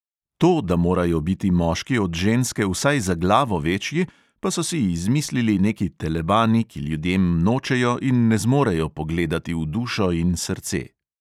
To, da morajo biti moški od ženske vsaj za glavo večji, pa so si izmislili neki telebani, ki ljudem nočejo in ne zmorejo pogledati v dušo in srce.